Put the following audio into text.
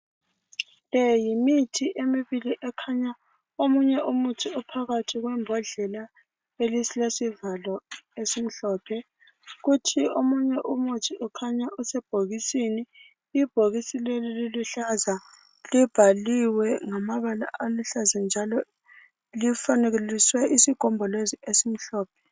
Le yimithi emibili , ekhanya omunye umuthi uphakathi kwembodlela elesivalo esimhlophe. kuthi omunye umuthi ukhanya usebhokisini ,ibhokisi leli liluhlaza. Libhaliwe ngamabala aluhlaza njalo lifanekiswe isigombolozi esimhlophe.